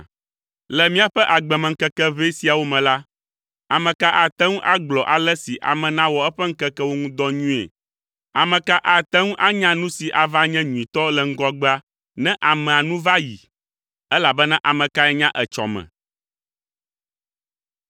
Le míaƒe agbemeŋkeke ʋɛ siawo me la, ame ka ate ŋu agblɔ ale si ame nawɔ eƒe ŋkekewo ŋu dɔ nyuie? Ame ka ate ŋu anya nu si ava nye nyuitɔ le ŋgɔgbea ne amea nu va yi? Elabena ame kae nya etsɔ me?